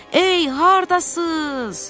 Ey, hardasız?